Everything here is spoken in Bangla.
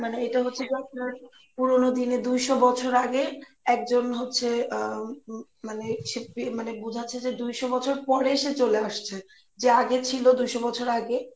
মানে এটা হচ্ছে কি আপনার পুরনো দিনে দুইশো বছরে আগে একজন হচ্ছে, আহ উম মানে সে বোঝাচ্ছে যে দুইশোবছর পরে সে চলে আসছে যা আগে ছিলো দুইশোবছর আগে